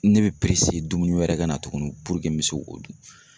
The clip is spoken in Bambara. Ne be dumuni wɛrɛ ka na tuguni n be se k'o dun.